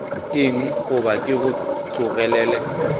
eng goba ke go tlogelele